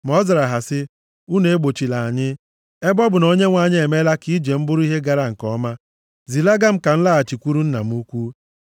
Ma ọ zara ha sị, “Unu egbochila anyị. Ebe ọ bụ na Onyenwe anyị emeela ka ije m bụrụ ihe gara nke ọma, zilaga m ka m laghachikwuru nna m ukwu.”